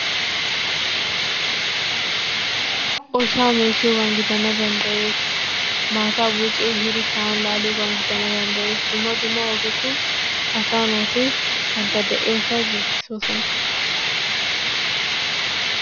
Oshaa meeshshiyogaan gidana danddayees, maattaa bucci ehiidi sa'an laamiyobagan gidana danddayees, dumma dumma ogetun asaa naati bantta de'iyosaa giggissoosona.